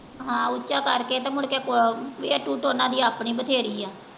ਹਾਂ ਉੱਚਾ ਕਰਕੇ ਤੇ ਮੁੜਕੇ ਆਪਣੀ ਬਥੇਰੀ ਆ।